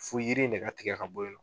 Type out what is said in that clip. Fo yiri in de ka tigɛ ka bɔ yen nɔ